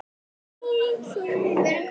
Háaloft var ríki